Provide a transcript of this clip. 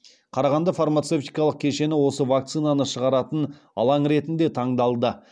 қарағанды фармацевтикалық кешені осы вакцинаны шығаратын алаң ретінде таңдалды